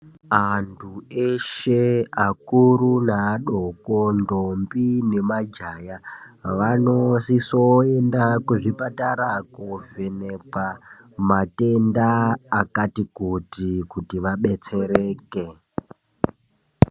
Antu eshe akuru neadoko ntombi nemajaya vanosisa kuenda kuzvipatara kovhenhekwa matenda akati kuti kuti vabetsereke